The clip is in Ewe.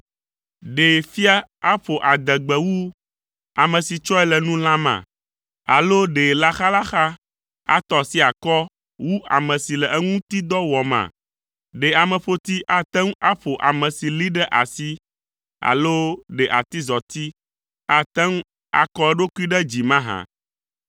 Ɖe fia aƒo adegbe wu ame si tsɔe le nu lãma? Alo ɖe laxalaxa atɔ asi akɔ wu ame si le eŋuti dɔ wɔma. Ɖe ameƒoti ate ŋu aƒo ame si lée ɖe asi alo ɖe atizɔti ate ŋu akɔ eɖokui ɖe dzi mahã?